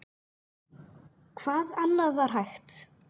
Hvað annað var hægt?